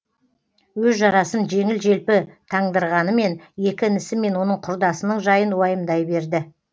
өз жарасын жеңіл желпі таңдырғанымен екі інісі мен оның құрдасының жайын уайымдай берді